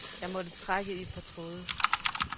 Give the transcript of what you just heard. Jeg måtte trække i et par tråde.